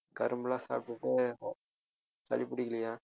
கரும்பெல்லாம் சாப்பிட்டுட்டு சளி பிடிக்கலையா